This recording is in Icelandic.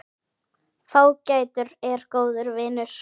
Fágætur er góður vinur.